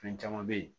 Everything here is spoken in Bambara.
Fɛn caman be ye